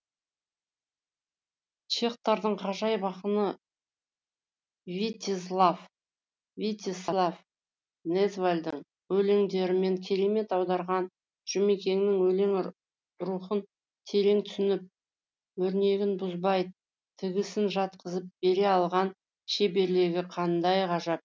чехтардың ғажайып ақыны витезслав незвалдың өлеңдерін керемет аударған жұмекеннің өлең рухын терең түсініп өрнегін бұзбай тігісін жатқызып бере алған шеберлігі қандай ғажап